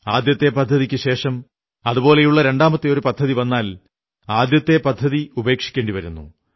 ആദ്യത്തെ പദ്ധതിക്കു ശേഷം അതുപോലെയുള്ള രണ്ടാമത്തെ ഒരു പദ്ധതി വന്നാൽ ആദ്യത്തെ പദ്ധതി ഉപേക്ഷിക്കേണ്ടി വരുന്നു